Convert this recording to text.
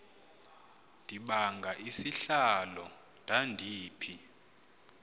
ndibanga isihlalo ndandiphi